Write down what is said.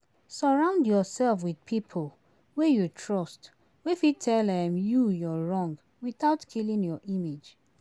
Sorround yourself with pipo wey you trust wey fit tell um you your wrong without killing your image